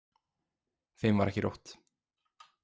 Þeim var ekki rótt.